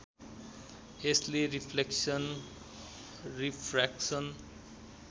यसले reflection refraction